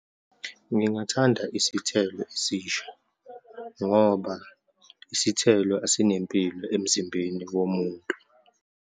Ngingathanda isithelo esisha ngoba isithelo esinempilo emzimbeni womuntu.